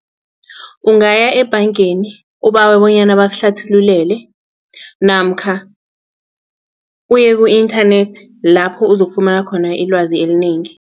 Ungaya ebhangeni ubawe bonyana bakuhlathululele namkha uye ku-inthanethi lapho uzokufumana khona ilwazi elinengi.